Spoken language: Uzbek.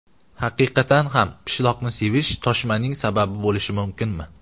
Haqiqatan ham pishloqni sevish toshmaning sababi bo‘lishi mumkinmi?